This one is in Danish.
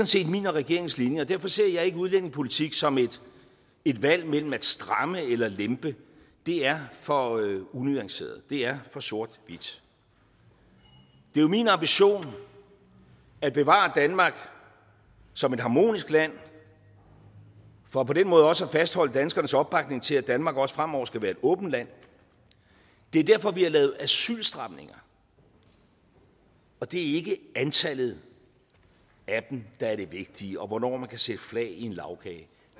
set min og regeringens linje og derfor ser jeg ikke udlændingepolitik som et valg mellem at stramme eller lempe det er for unuanceret det er for sort hvidt det er jo min ambition at bevare danmark som et harmonisk land for på den måde også at fastholde danskernes opbakning til at danmark også fremover skal være et åbent land det er derfor vi har lavet asylstramninger og det er ikke antallet af dem der er det vigtige og hvornår man kan sætte flag i en lagkage det